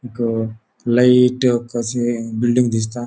एक लाइट कशे बिल्डिंग दिसता.